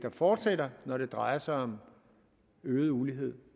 fortsætter når det drejer sig om øget ulighed